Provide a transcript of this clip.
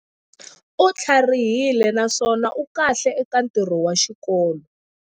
U tlharihile naswona u kahle eka ntirho wa xikolo.